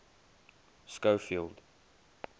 schofield